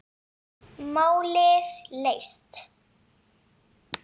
Málið leyst.